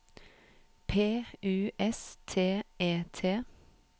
P U S T E T